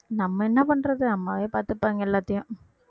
நம்ம என்ன பண்றது அம்மாவே பார்த்துப்பாங்க எல்லாத்தையும்